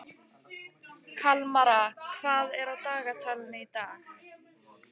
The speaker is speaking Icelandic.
Kalmara, hvað er á dagatalinu í dag?